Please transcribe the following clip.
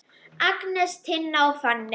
Agnes, Tinna og Fanney.